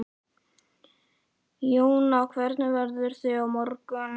Jóna, hvernig verður veðrið á morgun?